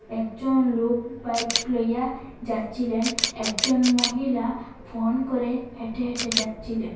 একজন লোক বাইক লইয়া যাচ্ছিলেন একজন মহিলা ফোন করে হেঁটে হেঁটে যাচ্ছিলেন।